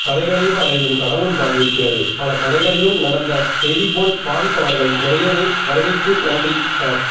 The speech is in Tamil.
கதைகளே பலரையு ம் கடவுள்பால் ஈர்க்கிறது பல கதைகளையும் நடந்த செய்திபோல் பாவிப்பவர்கள் நிறையவே வருகைக்கு நன்றி சார்